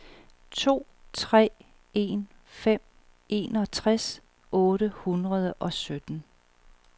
to tre en fem enogtres otte hundrede og sytten